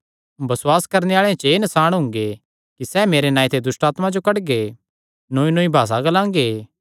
बसुआस करणे आल़ेआं च एह़ नसाण हुंगे कि सैह़ मेरे नांऐ ते दुष्टआत्मां जो कड्डगे नौईनौई भासा ग्लांगे